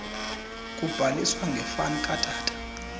kubhaliswa ngefani katata